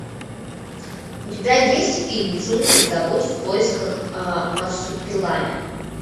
у тебя есть фильм джунгли зовут в поисках марсупилами